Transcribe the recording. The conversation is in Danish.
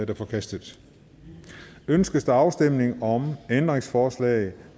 er forkastet ønskes der afstemning om ændringsforslag